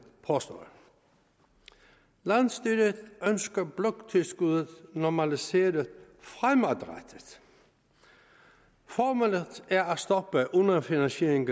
påstår landsstyret ønsker bloktilskuddet normaliseret fremadrettet formålet er at stoppe underfinansieringen